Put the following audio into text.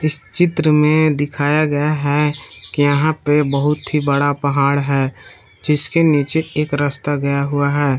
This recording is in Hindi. इस चित्र में दिखाया गया है के यहां पे बहुत ही बड़ा पहाड़ है जिसके नीचे एक रस्ता गया हुआ है।